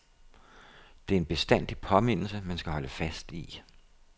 Det er en bestandig påmindelse, man skal holde fast i.